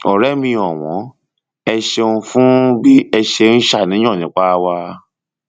ọrẹ mi ọwọn ẹ ṣeun fún bí ẹ ṣe ń ṣàníyàn nípa wa